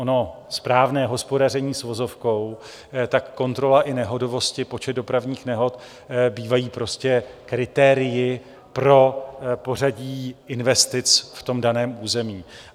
Ono správné hospodaření s vozovkou, tak kontrola i nehodovosti, počet dopravních nehod, bývají prostě kritérii pro pořadí investic v tom daném území.